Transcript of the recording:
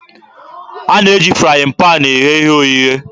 A na-eji frayịn paanị eghe ihe oghighe.